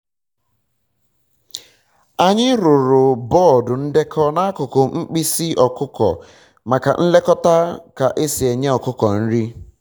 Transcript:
anyị rụrụ bọọdụ ndekọ n'akụkụ mkpịsị ọkụkọ maka nlekota ka e si enye ọkụkọ nri